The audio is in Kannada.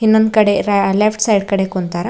ಇನ್ನೊಂದ್ ಕಡೆ ರಾ ಲೆಫ್ಟ್ ಸೈಡ್ ಕಡೆ ಕುಂತಾರ.